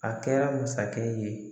A kɛra masakɛ ye.